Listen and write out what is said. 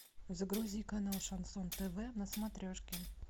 загрузи канал шансон тв на смотрешке